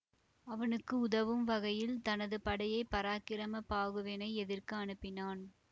அவனுக்கு உதவும் வகையில் தனது படையை பராக்கிரம பாகுவினை எதிர்க்க அனுப்பினான்